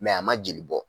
a ma jeli bɔ